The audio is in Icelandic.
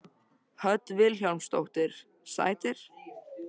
Hödd Vilhjálmsdóttir: Sætir?